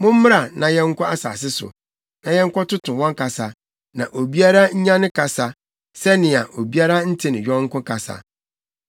Mommra na yɛnkɔ asase so, na yɛnkɔtoto wɔn kasa, na obiara nnya ne kasa, sɛnea obiara nte ne yɔnko kasa.”